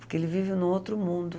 Porque ele vive em um outro mundo.